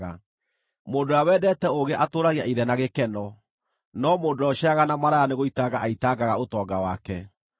Mũndũ ũrĩa wendete ũũgĩ atũũragia ithe na gĩkeno, no mũndũ ũrĩa ũceeraga na maraya nĩgũitanga aitangaga ũtonga wake.